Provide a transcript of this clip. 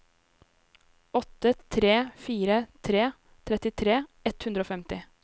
åtte tre fire tre trettitre ett hundre og femti